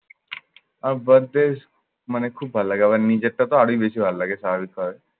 আমি birth day মানে খুব ভাল্লাগে। আমার নিজেরটাতো আরোই বেশি ভাল্লাগে স্বাভাবিকভাবে।